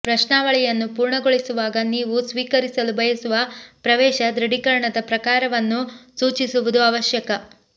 ಪ್ರಶ್ನಾವಳಿಯನ್ನು ಪೂರ್ಣಗೊಳಿಸುವಾಗ ನೀವು ಸ್ವೀಕರಿಸಲು ಬಯಸುವ ಪ್ರವೇಶ ದೃಢೀಕರಣದ ಪ್ರಕಾರವನ್ನು ಸೂಚಿಸುವುದು ಅವಶ್ಯಕ